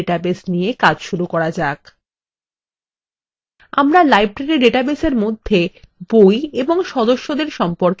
উদাহরণস্বরূপ আমাদের পরিচিত লাইব্রেরী ডাটাবেস নিয়ে কাজ শুরু করা যাক